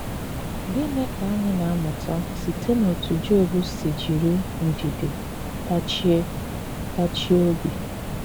Gịnị ka anyị na - amụta site n’otú Job si jiri ndidi tachie tachie obi?